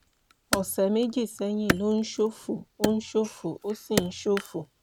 ọ̀sẹ̀ méjì sẹ́yìn ló ń ṣòfò ó ń ṣòfò ó sì ń ṣòfò